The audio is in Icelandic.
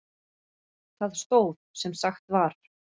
Það stóð sem sagt var.